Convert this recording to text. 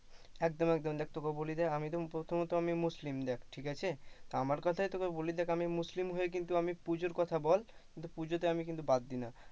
একদম একদম দেখ তোকে বলি দেখ আমি তো প্রথমত মুসলিম দেখ ঠিক আছে? তা আমার কথাই তোকে বলি দেখ মুসলিম হয়ে কিন্তু আমি পূজার কথার বল কিন্তু পুজোতে আমি কিন্তু বাদ দিনা।